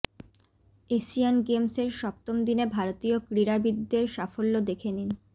Asian গেমসের সপ্তম দিনে ভারতীয় ক্রীড়াবিদদের সাফল্য দেখে নিন